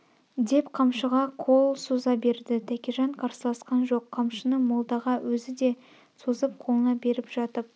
деп қамшыға қол соза берді тәкежан қарсыласқан жоқ қамшыны молдаға өзі де созып қолына беріп жатып